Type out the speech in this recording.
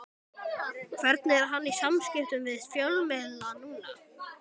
Hvernig er hann í samskiptum við fjölmiðla núna?